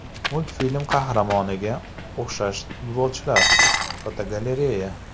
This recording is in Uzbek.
Multfilm qahramonlariga o‘xshash futbolchilar (fotogalereya).